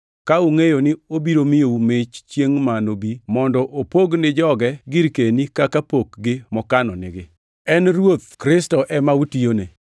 ka ungʼeyo ni obiro miyou mich chiengʼ ma nobi mondo opog ni joge girkeni kaka pokgi mokano nigi. En Ruoth Kristo ema utiyone.